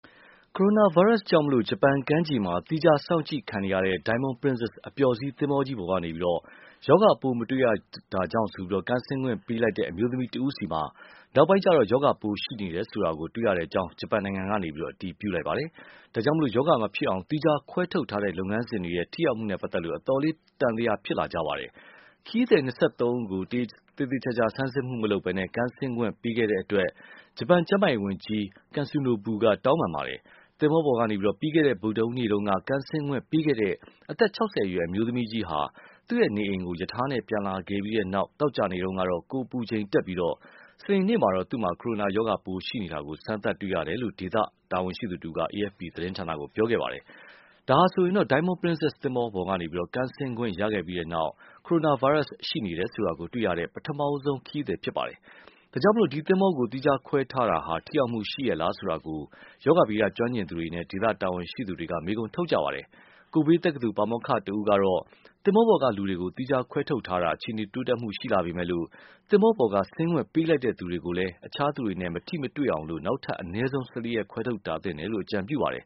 ကိုရိုနာဗိုင်းရပ်စ်ကြောင့် ဂျပန်ကမ်းခြေမှာ သီးခြား စောင့်ကြည့်ခံနေရတဲ့ Diamond Princess အပျော်စီးသင်္ဘောကြီးပေါ်ကနေ ရောဂါပိုး မတွေ့ရတာကြောင့် ကမ်းဆင်းခွင့်ပေးလိုက်တဲ့ အမျိုးသမီးဆီမှာ နောက်ပိုင်းကျတော့ ရောဂါပိုးရှိနေတယ်ဆိုတာ တွေ့ရတဲ့အကြောင်း ဂျပန်နိုင်ငံက အတည်ပြုပါတယ်။ ဒါကြောင့် ရောဂါမဖြစ်အောင် သီးခြားခွဲထုတ်ထားတဲ့ လုပ်ငန်းစဉ်တွေရဲ့ ထိရောက်မှုနဲ့ ပတ်သက်လို့ အတော်လေး သံသယဖြစ်လာကြပါတယ်။ ခရီးသည် ၂၃ ဦးကို သေသေချာချာ စစ်ဆေးမှုမလုပ်ဘဲ ကမ်းဆင်းခွင့်ပေးခဲ့တဲ့အတွက် ဂျပန်ကျန်းမာရေးဝန်ကြီး Katsunobu က တောင်းပန်ပါတယ်။ သင်္ဘောပေါ်ကနေ ပြီးခဲ့တဲ့ ဗုဒ္ဓဟူးနေ့တုန်းက ကမ်းဆင်းခွင့်ပေးခဲ့တဲ့ အသက် ၆၀ အရွယ် အမျိုးသမီးကြီးဟာ သူ့နေအိမ်ကို ရထားနဲ့ ပြန်လာခဲ့ပြီးတဲ့နောက် သောကြာနေ့တုန်းက ကိုယ်အပူချိန်တက်ပြီး စနေနေ့ကျတော့ သူ့မှာ ကိုရိုနာရောဂါပိုး ရှိနေတာကို စမ်းသပ်တွေ့ရတယ်လို့ ဒေသတာဝန်ရှိသူတဦးက AFP သတင်းဌာနကို ပြောပါတယ်။ ဒါဟာဆိုရင် Diamond Princess သင်္ဘောပေါ်ကနေ ကမ်းဆင်းခွင့် ရခဲ့ပြီးနောက် ကိုရိုနာဗိုင်းရပ်စ် ရှိနေတယ်ဆိုတာ တွေ့ရတဲ့ ပထမဆုံးခရီးသည် ဖြစ်ပါတယ်။ ဒါကြောင့် ဒီသင်္ဘောကို သီးခြားခွဲထားတာ ထိရောက်မှုရှိရဲ့လား ဆိုတာကို ရောဂါဗေဒ ကျွမ်းကျင်သူတွေနဲ့ ဒေသတာဝန်ရှိသူတွေ မေးခွန်းထုတ်နေကြပါတယ်။ Kobe တက္ကသိုလ် ပါမောက္ခတဦးကတော့ သင်္ဘောပေါ်ကလူတွေကို သီးခြားခွဲထုတ်ထားတာ အခြေအနေ တိုးတက်မှု ရှိလာပေမယ့်လို့ သင်္ဘောပေါ်က ဆင်းခွင့်ပေးလိုက်တဲ့ သူတွေကိုလည်း အခြားသူတွေနဲ့ မထိမတွေ့အောင် နောက်ထပ် အနည်းဆုံး ၁၄ ရက် ခွဲထုတ်ထားသင့်တယ်လို့ အကြံပြုပါတယ်